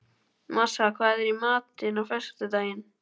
Marsa, hvað er í matinn á föstudaginn?